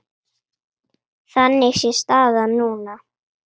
Þannig sé staðan núna.